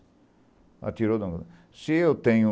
Ah tirou. Se eu tenho